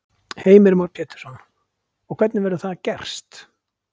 Heimir Már Pétursson: Og hvernig verður það gerst?